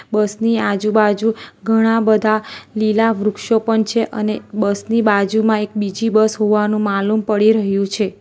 બસ ની આજુબાજુ ઘણા બધા લીલા વૃક્ષો પણ છે અને બસની બાજુમાં એક બીજી બસ હોવાનું માલુમ પડી રહ્યું છે.